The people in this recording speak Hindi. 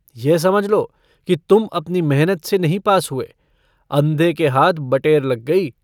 यह समझ लो कि तुम अपनी मेहनत से नहीं पास हुए, अन्धे के हाथ बटेर लग गई।